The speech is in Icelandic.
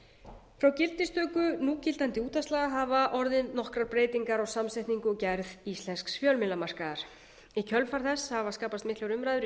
frá gildistöku núgildandi útvarpslaga hafa orðið nokkrar breytingar á samsetningu og gerð íslensks fjölmiðlamarkaðar í kjölfar þess hafa skapast miklar umræður í